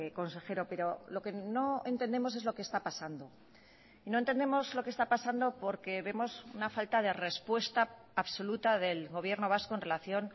consejero pero lo que no entendemos es lo que está pasando y no entendemos lo que está pasando porque vemos una falta de respuesta absoluta del gobierno vasco en relación